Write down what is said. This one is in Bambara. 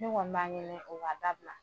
Ne kɔni b'a ɲini o ka dabila